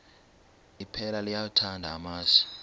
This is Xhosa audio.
iphela liyawathanda amasi